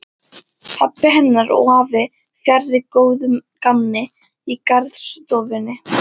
Pabbi hennar og afi fjarri góðu gamni í garðstofunni.